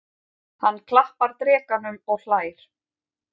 Hann klappar drekanum og hlær.